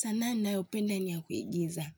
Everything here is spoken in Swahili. Sanaa ninayopenda ni ya kuigiza.